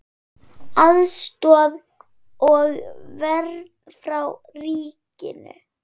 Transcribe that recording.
Aðstoð og vernd frá ríkinu